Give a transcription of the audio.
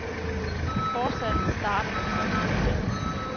Forsalget starter den første april.